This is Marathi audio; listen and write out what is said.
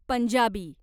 पंजाबी